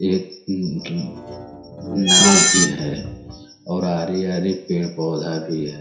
एक हम्म्म नाव भी है और हरी-हरी पेड़-पौधा भी है।